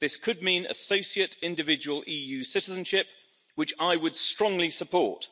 This could mean associate individual EU citizenship, which I would strongly support.